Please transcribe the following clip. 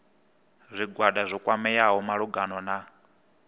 zwigwada zwo kwameaho malugana na